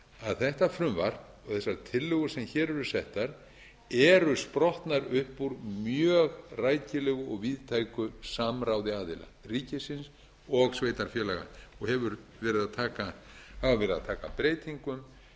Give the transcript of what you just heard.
að þetta frumvarp og þessar tillögur sem hér eru settar eru sprottnar upp úr mjög rækilegu og víðtæku samráði aðila ríkisins og sveitarfélaga og hafa verið að taka breytingum